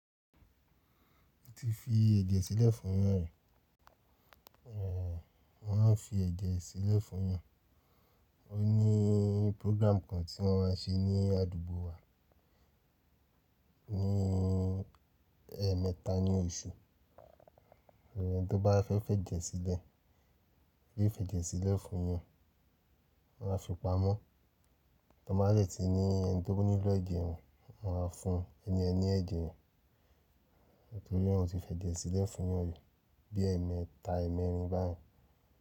O ti fi ẹ̀jẹ̀ sílẹ̀ fún yàn rí, ẹ, wọn a fi ẹ̀jẹ̀ sílẹ̀ fún yàn. O ní program kan tí wọ́n maa n ṣe ní àdúgbò wa ní ẹ mẹ́ta ní ọ̀su. Ẹni tí ó bá fẹ́ fẹ́ jẹ̀ sílẹ̀, yóò fi ẹ̀jẹ̀ sílẹ̀ fún yàn. Wọ́n a fi pamọ́, tọ bá de tí ní ẹni tí ó nílò ẹ̀jẹ̀ yen, wọn a fún ẹni yen ni ẹ̀jẹ̀ yen. Torí naa mo ti fi ẹ̀jẹ̀ sílẹ̀ fún yàn rí bí ẹ mẹ́ta, ẹ́ẹ̀mẹ́rin báyi.